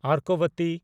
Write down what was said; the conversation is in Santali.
ᱚᱨᱠᱚᱵᱚᱛᱤ